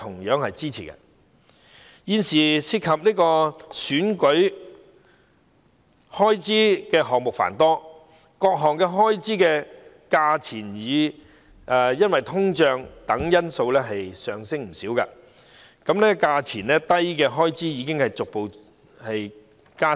現時涉及選舉開支的項目繁多，各項開支因通脹等因素而上升不少，數額低的開支已逐步減少。